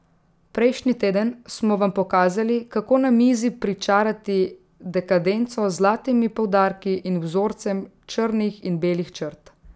Prejšnji teden smo vam pokazali, kako na mizi pričarati dekadenco z zlatimi poudarki in vzorcem črnih in belih črt.